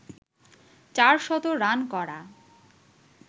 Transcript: চারশত রান করা